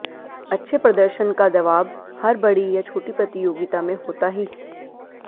अच्छे प्रदर्शन का दवाब हर बड़ी या छोटी प्रतियोगिता में होता ही है